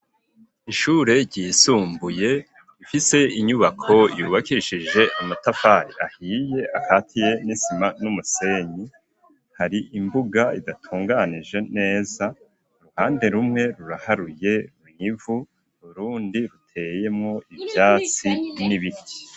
Ishure ryisumbuye rifise inyubako yubakishije amatafari ahiye akatiye n'isima n'umusenyi hari imbuga idatunganije neza uruhande rumwe ruraharuye mw’ivu, urundi ruteyemwo ivyatsi n'ibiti.